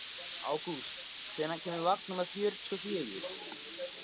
Ágúst, hvenær kemur vagn númer fjörutíu og fjögur?